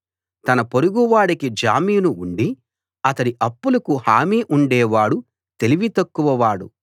తన పొరుగువాడికి జామీను ఉండి అతడి అప్పులకు హామీ ఉండే వాడు తెలివితక్కువ వాడు